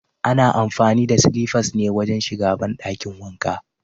Ana amfani da silifas ne wajen shiga banɗakin wanka.